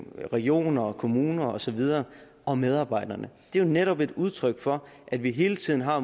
regioner og kommuner og så videre og medarbejderne det er jo netop et udtryk for at vi hele tiden har